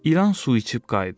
İlan su içib qayıdır.